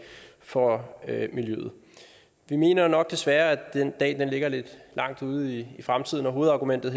for miljøet vi mener nok desværre at den dag ligger lidt langt ude i fremtiden og hovedargumentet